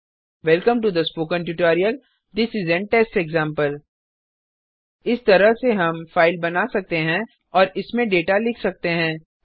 welcome to the spoken tutorial this is an test example इस तरह से हम फाइल बना सकते हैं और इसमे डेटा लिख सकते हैं